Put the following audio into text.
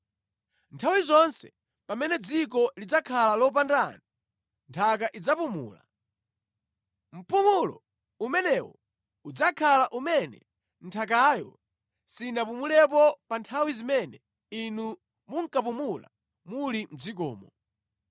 Nthawi zonse pamene dzikolo lidzakhala lopanda anthu, nthaka idzapumula. Mpumulo umenewu udzakhala umene nthakayo sinapumulepo pa nthawi zimene inu munkapumula muli mʼdzikomo.